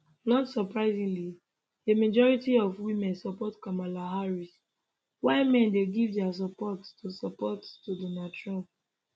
not surprisingly a majority of women support kamala harris while men dey give dia support to support to donald trump